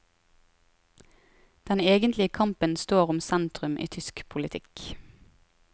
Den egentlige kampen står om sentrum i tysk politikk.